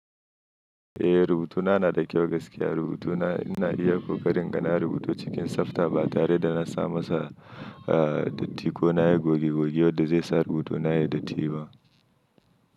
Eh rubutuna na da kyau gaskiya rubutuna ina iya kokari in ga na rubutu cikin tsafta ba tare da na sama sa datti ko nayi goge goge wadda zai sa rubutuna yai datti ba.